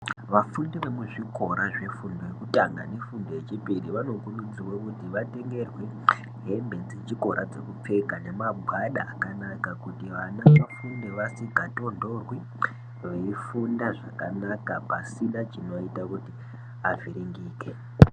Vafundi vemuzvikora zvefundo yekutanga negundo yechipiri vanokurudzirwe kuti vatengerwe hembe dzechikora dzekupfeka nemagwada akanakakuti vana vafunde vasikatontorwi veifunda zvakanaka pasina chinoita kuti avhiringike.